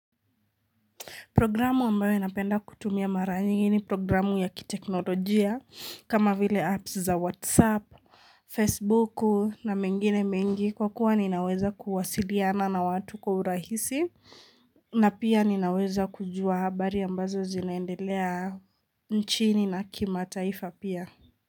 Programu ambayo inapenda kutumia mara nyingi ni programu ya kiteknolojia kama vile apps za whatsapp, facebook na mengine mengi kwa kuwa ninaweza kuwasiliana na watu kwa urahisi na pia ninaweza kujua habari ambazo zinaendelea nchini na kima taifa pia.